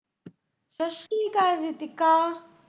ਸਸਰੀਕਾਲ Ritika.